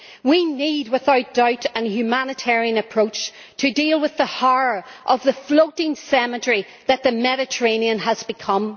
We need, without doubt, a humanitarian approach to deal with the horror of the floating cemetery that the Mediterranean has become.